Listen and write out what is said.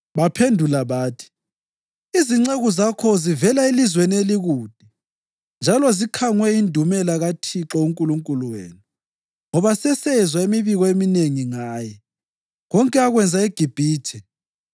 Baphendula bathi, “Izinceku zakho zivela elizweni elikude njalo zikhangwe yindumela kaThixo uNkulunkulu wenu. Ngoba sesezwa imibiko eminengi ngaye: konke akwenza eGibhithe,